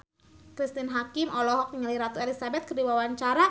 Cristine Hakim olohok ningali Ratu Elizabeth keur diwawancara